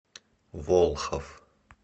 волхов